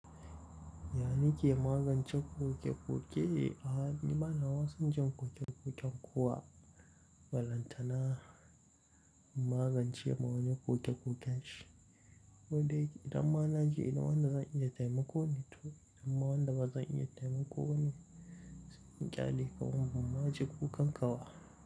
Yana ke magance ƙoke-ƙoke? A'a, ni bana ma san jin ƙoke-ƙoken kuwa. Bala tana magance ma wani ƙoke-ƙoken shi. Don da idan ma na je ina wanda zan iya taimako ne? To idan ma wanda ba zan iya taimako ba ne, sai in ƙyale kawai. Buma je kukan kawa.